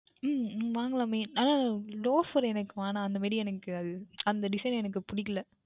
உம் வாங்கிக்கொள்ளலாமே ஆனால் Loafer எனக்கு வேண்டாம் அந்த மாதிரி எனக்கு அது அந்த Design எனக்கு பிடிக்கவில்லை